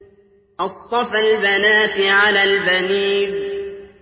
أَصْطَفَى الْبَنَاتِ عَلَى الْبَنِينَ